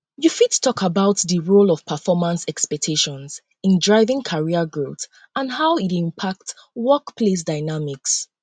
you um fit talk about di um role of performance expectations in driving um career growth and how e dey impact workplace dynamics